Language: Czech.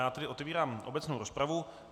Já tedy otevírám obecnou rozpravu.